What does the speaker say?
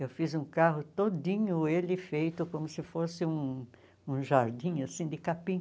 Eu fiz um carro todinho ele feito como se fosse um um jardim, assim, de capim.